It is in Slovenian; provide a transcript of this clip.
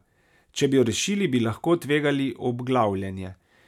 Če bi jo rešili, bi lahko tvegali obglavljenje.